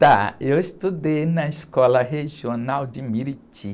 Tá, eu estudei na escola regional de.